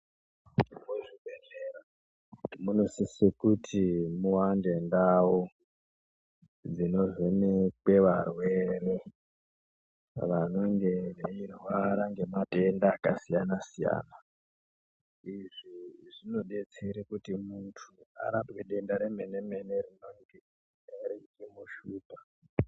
Muzvibhehlera munosise kuti muwande ndau dzinovhenekwe varwere vanenge veirwara ngematenda akasiyanasiyana izvi zvinodetsere kuti muntu arapwe denda remenemene rinonge reimushupa.